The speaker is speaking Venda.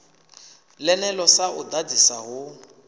ḽeneḽo sa u ḓadzisa hu